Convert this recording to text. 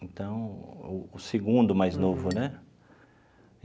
Então, o segundo mais novo, né?